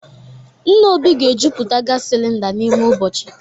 Nna Obi ga-ejuputa gas cylinder n'ime ụbọchị